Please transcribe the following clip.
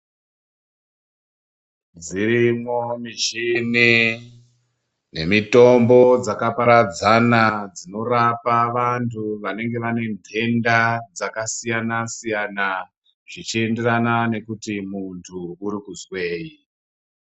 Dzirimwo michini nemitombo dzakaparadzana dzinorapa vantu vanenge vane ntenda dzakasiyana siyana zvichienderana nekuti muntu uri kuzwei.